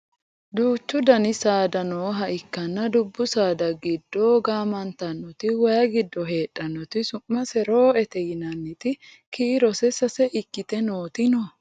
duuchu dani saada heedhannoha ikkanna dubbu saada giddo gaamantannoti wayee giddo heedhannoti su'mase roo"ete yinanniti kiirose sase ikkite nooti no